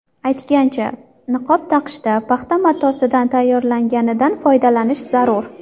Aytgancha, niqob taqishda paxta matosidan tayyorlanganidan foydalanish zarur.